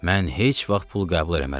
Mən heç vaxt pul qəbul eləmərəm.